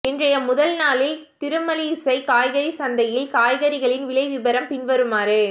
இன்றைய முதல் நாளில் திருமழிசை காய்கறி சந்தையில் காய்கறிகளின் விலை விவரம் பின்வருமாறு